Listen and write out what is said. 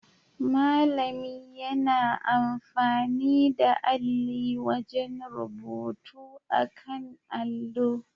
Malami yana amfani da alli wajen rubutu akan allo